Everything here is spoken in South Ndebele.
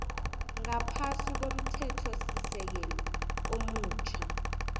ngaphasi komthethosisekelo omutjha